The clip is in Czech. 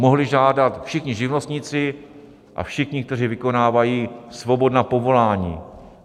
Mohli žádat všichni živnostníci a všichni, kteří vykonávají svobodná povolání.